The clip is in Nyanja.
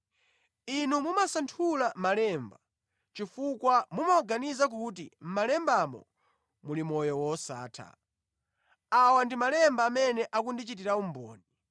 Inu mumasanthula malemba chifukwa mumaganiza kuti mʼmalembamo muli moyo wosatha. Awa ndi malemba amene akundichitira umboni.